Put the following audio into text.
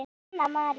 Þín, Anna María.